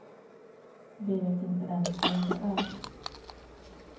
Vi vet inte ens vem det är.